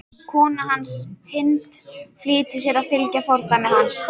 Kona hans, Hind, flýtir sér að fylgja fordæmi hans.